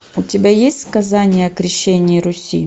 у тебя есть сказание о крещении руси